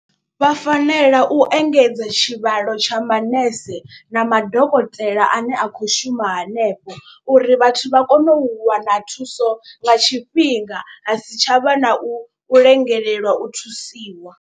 Vha fanela u engedza tshivhalo tsha manese na madokotela ane a khou shuma hanefho. Uri vhathu vha kone u wana thuso nga tshifhinga ha si tshavha na u lengelelwa u thusiwa.